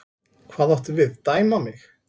Hvað áttu við, dæma mig?